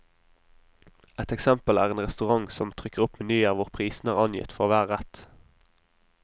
Ett eksempel er en restaurant som trykker opp menyer hvor prisene er angitt for hver rett.